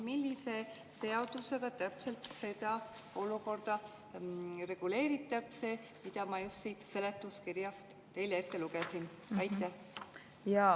Millise seadusega reguleeritakse seda olukorda, mille ma just siit seletuskirjast teile ette lugesin?